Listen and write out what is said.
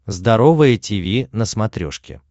здоровое тиви на смотрешке